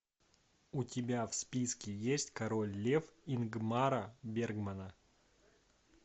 у тебя в списке есть король лев ингмара бергмана